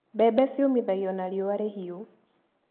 Mbembe ciũmithagio na riua rĩhiũ.